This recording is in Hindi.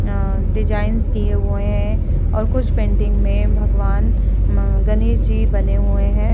अ डिजाइंस किये हुए हैं और कुछ पेंटिंग में भगवान म गणेश जी बने हुए है ।